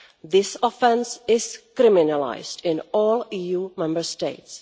This offence is criminalised in all EU Member States.